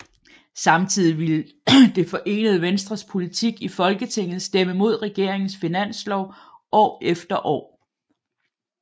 Samtidig ville Det forenede Venstres politik i Folketinget stemme mod regeringens finanslov år efter år